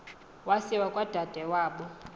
wasiwa kwadade wabo